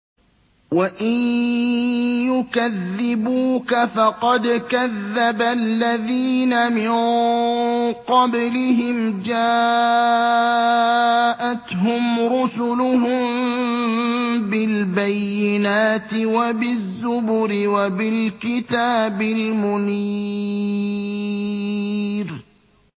وَإِن يُكَذِّبُوكَ فَقَدْ كَذَّبَ الَّذِينَ مِن قَبْلِهِمْ جَاءَتْهُمْ رُسُلُهُم بِالْبَيِّنَاتِ وَبِالزُّبُرِ وَبِالْكِتَابِ الْمُنِيرِ